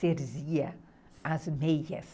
tecia as meias.